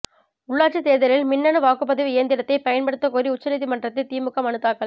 உள்ளாட்சி தேர்தலில் மின்னணு வாக்குப்பதிவு இயந்திரத்தை பயன்படுத்த கோரி உச்சநீதிமன்றத்தில் திமுக மனு தாக்கல்